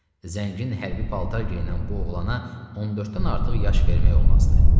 Zəngin hərbi paltar geyinən bu oğlana 14-dən artıq yaş vermək olmazdı.